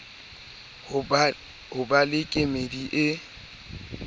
ho ba le kemedi e